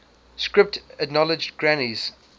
script acknowledged granny's